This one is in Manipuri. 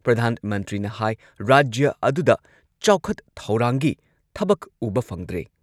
ꯄ꯭ꯔꯙꯥꯟ ꯃꯟꯇ꯭ꯔꯤꯅ ꯍꯥꯏ ꯔꯥꯖ꯭ꯌ ꯑꯗꯨꯗ ꯆꯥꯎꯈꯠ ꯊꯧꯔꯥꯡꯒꯤ ꯊꯕꯛ ꯎꯕ ꯐꯪꯗ꯭ꯔꯦ꯫